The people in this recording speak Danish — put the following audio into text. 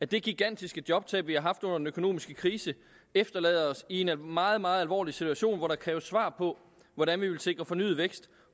det gigantiske jobtab vi har haft under den økonomiske krise efterlader os i en meget meget alvorlig situation hvor der kræves svar på hvordan vi vil sikre fornyet vækst